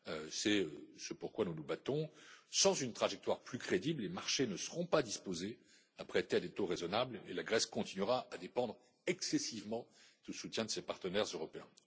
C'est ce pourquoi nous nous battons. Sans une trajectoire plus crédible, les marchés ne seront pas disposés à prêter à des taux raisonnables et la Grèce continuera à dépendre excessivement du soutien de ses partenaires européens.